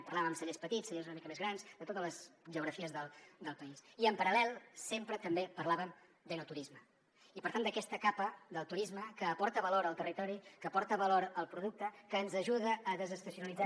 parlàvem amb cellers petits cellers una mica més grans de totes les geografies del país i en paral·lel sempre també parlàvem d’enoturisme i per tant d’aquesta capa del turisme que aporta valor al territori que aporta valor al producte que ens ajuda a desestacionalitzar